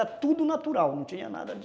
Era tudo natural, não tinha nada de...